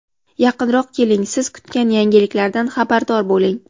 yaqinroq keling: siz kutgan yangilikdan xabardor bo‘ling!.